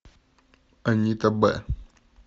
анита б